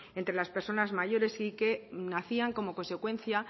entre las personas mayores y que nacían como consecuencia